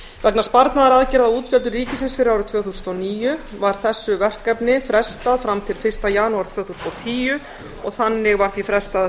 vegna sparnaðaraðgerða á útgjöldum ríkisins fyrir árið tvö þúsund og níu var þessu verkefni frestað fram til fyrsta janúar tvö þúsund og tíu og þannig var því frestað að